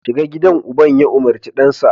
shiga gidan uban ya umarci dansa